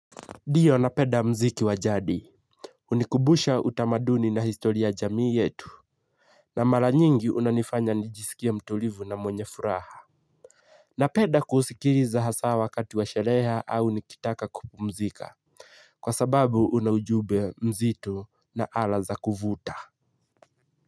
Ndiyo napenda mziki wa jadi. Hunikumbusha utamaduni na historia ya jamii yetu. Na mara nyingi unanifanya nijisikia mtulivu na mwenye furaha. Napenda kusikiliza hasaa wakati wa shereha au nikitaka kupumzika. Kwa sababu una ujumbe mzito na ala za kuvuta.